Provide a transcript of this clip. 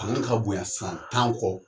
Ani ka bonya san tan kɔ